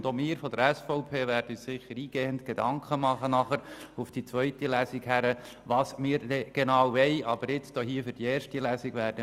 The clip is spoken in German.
Auch wir von der SVP werden uns sicher im Hinblick auf die zweite Lesung eingehend Gedanken darüber machen, was wir denn genau wollen.